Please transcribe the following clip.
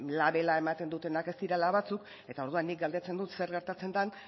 labela ematen dutenak ez direla batzuk eta orduan nik galdetzen dut zer gertatzen den